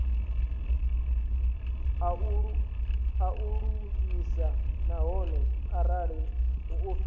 a lulamise nahone arali muofisiri